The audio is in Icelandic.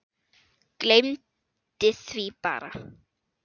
Gleymdi því bara.